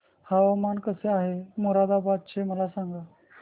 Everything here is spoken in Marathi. हवामान कसे आहे मोरादाबाद चे मला सांगा